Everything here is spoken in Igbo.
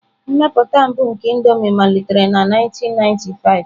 Mmepụta mbụ nke Indomie malitere na 1995.